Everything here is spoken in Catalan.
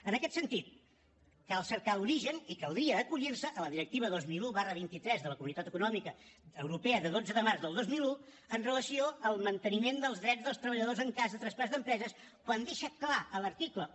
en aquest sentit cal cercar l’origen i caldria acollir se a la directiva dos mil un vint tres de la comunitat econòmica europea de dotze de març del dos mil un amb relació al manteniment dels drets dels treballadors en cas de traspàs d’empreses quan deixa clar a l’article un